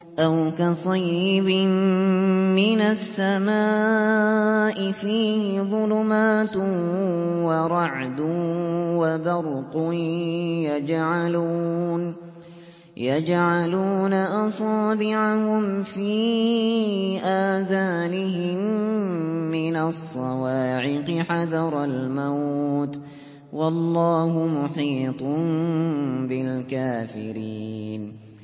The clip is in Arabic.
أَوْ كَصَيِّبٍ مِّنَ السَّمَاءِ فِيهِ ظُلُمَاتٌ وَرَعْدٌ وَبَرْقٌ يَجْعَلُونَ أَصَابِعَهُمْ فِي آذَانِهِم مِّنَ الصَّوَاعِقِ حَذَرَ الْمَوْتِ ۚ وَاللَّهُ مُحِيطٌ بِالْكَافِرِينَ